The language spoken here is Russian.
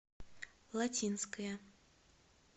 латинская